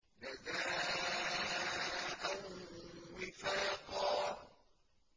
جَزَاءً وِفَاقًا